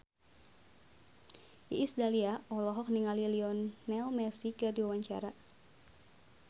Iis Dahlia olohok ningali Lionel Messi keur diwawancara